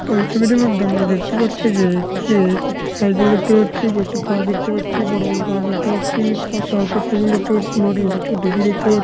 এই ছবিটির মধ্যম আমরা দেখতে পারছি যে এখানে-এ কিছু সাইকেল দেখতে পাচ্ছি। কয়েকটি গাছ দেখতে পাচ্ছি। বড়ো বড়ো গাছ দেখতে পাচ্ছি পাশে আর একটি সাইকেল দেখতে পাচ্ছি মাটির প্রচুর ঢিপি দেখতে পা --